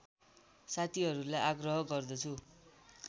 साथीहरूलाई आग्रह गर्दछु